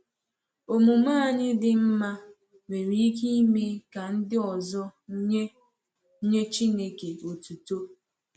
Omume anyị dị mma nwere ike ime ka ndị ọzọ nye nye Chineke otuto.